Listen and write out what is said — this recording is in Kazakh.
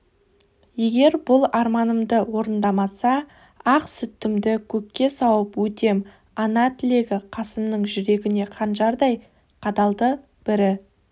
егер бұл арманымды орындамаса ақ сүтімді көкке сауып өтем ана тілегі қасымның жүрегіне қанжардай қадалды бірі